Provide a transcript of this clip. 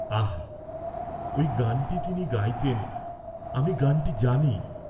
আহা ঐ গানটী তিনি গাইতেন, আমি গানটী জানি।